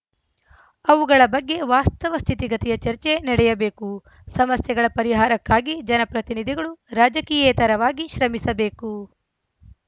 ಅವುಗಳ ಬಗ್ಗೆ ವಾಸ್ತವ ಸ್ಥಿತಿಗತಿಯ ಚರ್ಚೆ ನಡೆಯಬೇಕು ಸಮಸ್ಯೆಗಳ ಪರಿಹಾರಕ್ಕಾಗಿ ಜನಪ್ರತಿನಿಧಿಗಳು ರಾಜಕೀಯೇತರವಾಗಿ ಶ್ರಮಿಸಬೇಕು